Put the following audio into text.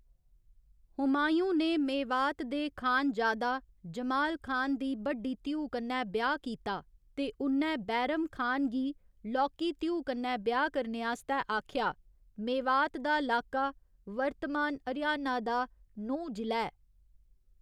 हुमायूँ ने मेवात दे खानजादा जमाल खान दी बड्डी धीऊ कन्नै ब्याह् कीता ते उ'न्नै बैरम खान गी लौह्की धीऊ कन्नै ब्याह् करने आस्तै आखेआ , मेवात दा लाका वर्तमान हरियाणा दा नूंह जि'ला ऐ।